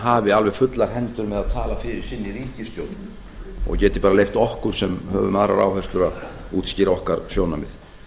hafi alveg fullar hendur með að tala fyrir sinni ríkisstjórn og geti bara leyft okkur sem höfum aðrar áherslur að útskýra okkar sjónarmið